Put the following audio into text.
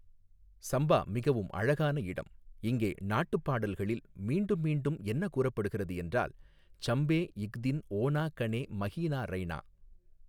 சம்பா மிகவும் அழகான இடம், இங்கே நாட்டுப்பாடல்களில் மீண்டும்மீண்டும் என்ன கூறப்படுகிறது என்றால் சம்பே இக் தின் ஓணா கனே மஹீனா ரைணா.